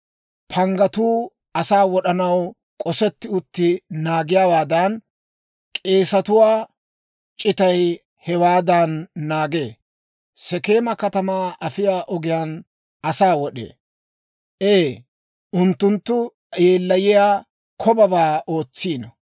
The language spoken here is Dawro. Panggatuu asaa wod'anaw k'osetti uttiide naagiyaawaadan, k'eesetuwaa c'itaykka hewaadan naagee; Sekeema katamaa afiyaa ogiyaan asaa wod'ee. Ee, unttunttu yeellayiyaa kobabaa ootsiino.